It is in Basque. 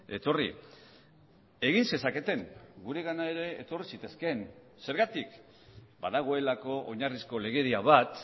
etorri egin zezaketen guregana ere etorri zitezkeen zergatik badagoelako oinarrizko legedia bat